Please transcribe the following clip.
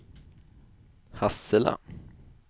Hassela